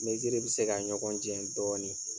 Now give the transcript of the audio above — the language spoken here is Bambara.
Mɛziriw bɛ se ka ɲɔgɔn cɛ dɔɔnin.